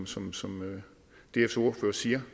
som som dfs ordfører siger